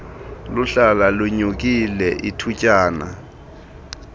luhlala lunyukile ithutyana